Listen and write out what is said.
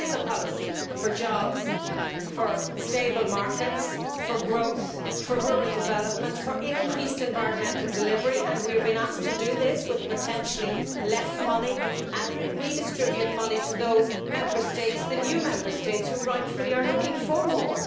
This is a policy for jobs, for stable markets, for growth, for rural development and for increased environmental delivery, and we have been asked to do this with potentially less money and to redistribute money to those Member States the new Member States who rightfully are looking for more.